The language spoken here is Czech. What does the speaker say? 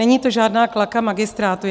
Není to žádná klaka magistrátu.